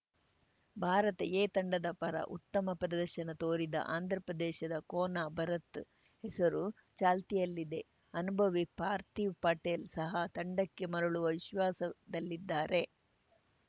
Bharat A ತಂಡದ ಪರ ಉತ್ತಮ ಪ್ರದರ್ಶನ ತೋರಿದ ಆಂಧ್ರ ಪ್ರದೇಶದ ಕೋನಾ ಭರತ್‌ ಹೆಸರು ಚಾಲ್ತಿಯಲ್ಲಿದೆ ಅನುಭವಿ ಪಾರ್ಥೀವ್‌ ಪಟೇಲ್‌ ಸಹ ತಂಡಕ್ಕೆ ಮರಳುವ ವಿಶ್ವಾಸದಲ್ಲಿದ್ದಾರೆ